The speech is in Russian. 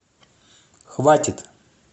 хватит